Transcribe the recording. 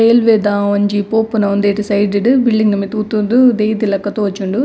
Railway ದ ಒಂಜಿ ಪೋಪುನ ಉಂದೆಟ್ ಸೈಡ್ ಡು ಬಿಲ್ಡಿಂಗ್ ದ ಮಿತ್ತ್ ಉತೊಂದು ದೀತಿಲಕ ತೋಜುಂಡು.